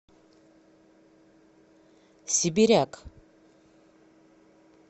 сибиряк